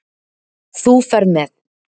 Þú ferð með